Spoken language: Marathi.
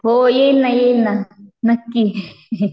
हो येईल ना येईल ना नक्की